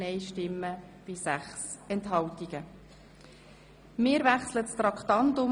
Wir kommen zum Verpflichtungskredit Traktandum